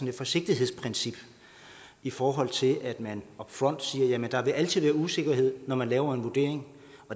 et forsigtighedsprincip i forhold til at man up front siger at der altid vil usikkerhed når man laver en vurdering